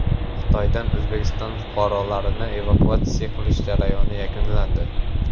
Xitoydan O‘zbekiston fuqarolarini evakuatsiya qilish jarayoni yakunlandi.